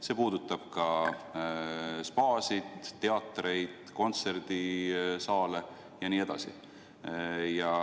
See puudutab ka spaasid, teatreid, kontserdisaale ja nii edasi.